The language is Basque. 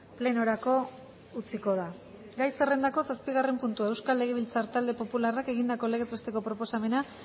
plenorako utziko da gai zerrendako zazpigarren puntua euskal legebiltzar talde popularrak egindako legez besteko proposamena